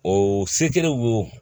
O se kelen wo